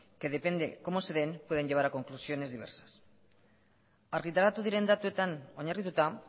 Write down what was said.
que depende como se den pueden llevar a conclusiones diversas argitaratu diren datuetan oinarrituta